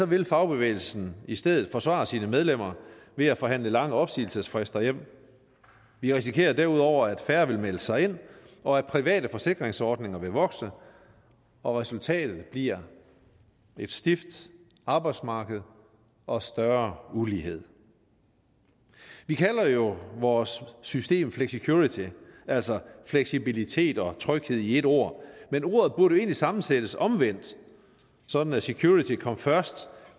vil fagbevægelsen i stedet forsvare sine medlemmer ved at forhandle lange opsigelsesfrister hjem vi risikerer derudover at færre vil melde sig ind og at private forsikringsordninger vil vokse og resultatet bliver et stift arbejdsmarkedet og større ulighed vi kalder jo vores system flexicurity altså fleksibilitet og tryghed i et ord men ordet burde egentlig sammensættes omvendt sådan at security kom først